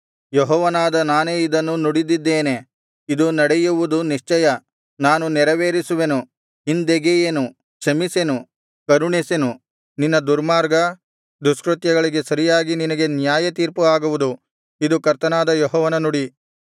ಯೆಹೋವನಾದ ನಾನೇ ಇದನ್ನು ನುಡಿದಿದ್ದೇನೆ ಇದು ನಡೆಯುವುದು ನಿಶ್ಚಯ ನಾನು ನೆರವೇರಿಸುವೆನು ಹಿಂದೆಗೆಯೆನು ಕ್ಷಮಿಸೆನು ಕರುಣಿಸೆನು ನಿನ್ನ ದುರ್ಮಾರ್ಗ ದುಷ್ಕೃತ್ಯಗಳಿಗೆ ಸರಿಯಾಗಿ ನಿನಗೆ ನ್ಯಾಯತೀರ್ಪು ಆಗುವುದು ಇದು ಕರ್ತನಾದ ಯೆಹೋವನ ನುಡಿ